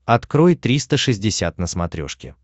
открой триста шестьдесят на смотрешке